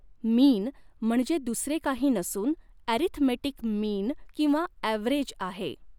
मीन म्हणजे दुसरे काही नसून ॲरीथमेटिक मीन किंवा ॲव्हरेज आहे.